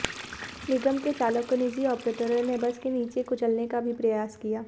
निगम के चालक को निजी आपरेटरों ने बस के नीचे कुचलने का भी प्रयास किया